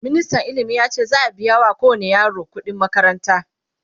ministan ilimi yace za'q biya wa kowani yaro ƙuɗi n makaranta